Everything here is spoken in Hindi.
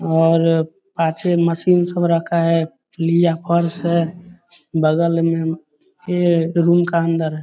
और पाछै मशीन सब रखा है। है। बगल में ए रूम का अन्दर है।